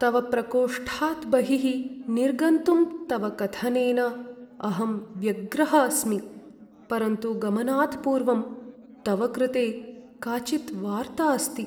तव प्रकोष्ठात् बहिः निर्गन्तुं तव कथनेन अहं व्यग्रः अस्मि, परन्तु गमनात् पूर्वं तव कृते काचित् वार्ता अस्ति।